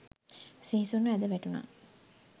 සිහිසුන්ව ඇද වැටුනා.